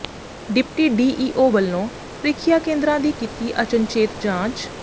deputy DEO ਵੱਲੋਂ ਪ੍ਰਰੀਖਿਆਂ ਕੇਂਦਰਾਂ ਦੀ ਕੀਤੀ ਅਚਨਚੇਤ ਜਾਂਚ